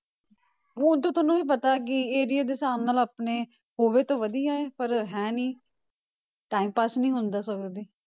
ਊਂ ਤਾਂ ਤੁਹਾਨੂੰ ਵੀ ਪਤਾ ਹੈ ਕਿ area ਦੇ ਹਿਸਾਬ ਨਾਲ ਆਪਣੇ ਹੋਵੇ ਤਾਂ ਵਧੀਆ ਹੈ ਪਰ ਹੈ ਨੀ time pass ਨੀ ਹੁੰਦਾ ਸਗੋਂ ਦੀ।